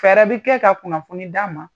Fɛɛrɛ bi kɛ ka kunnafoni d'a ma